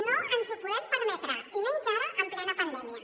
no ens ho podem permetre i menys ara en plena pandèmia